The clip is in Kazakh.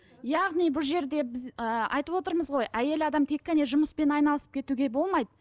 яғни бұл жерде біз ы айтып отырмыз ғой әйел адам тек қана жұмыспен айналысып кетуге болмайды